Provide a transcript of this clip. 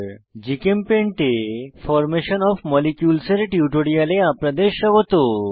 GChemPaint এ formation of molecules এর টিউটোরিয়ালে আপনাদের স্বাগত